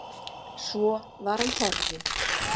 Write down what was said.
Svo var hann horfinn.